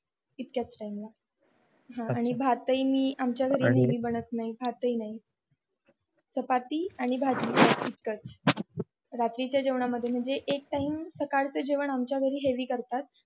इतक्याच टाइमला हा नाही भातही मी आमच्या घरी बनत नाही भात हि नाही चपाती आणि भाजी फिक्कट रात्रीच्या जेवण यामध्ये म्हणजे एक टाइम सकाळचं जेवण माच्या घरी हेवी करतात